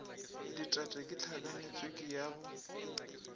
ditete ke tlhakanetswiki yo ke